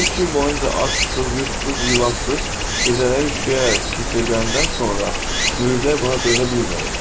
Üç gün boyunca ac-susuz, yurdsuz, yuvasız, gecələri üşüyərək keçirdəndən sonra Mücdəy buna dözə bilməyib.